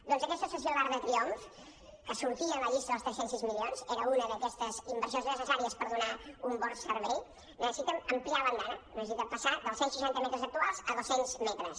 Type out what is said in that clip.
doncs aquesta estació d’arc de triomf que sortia en la llista dels tres cents i sis milions era una d’aquestes inversions necessàries per donar un bon servei necessita ampliar l’andana necessita passar dels cent i seixanta metres actuals a dos cents metres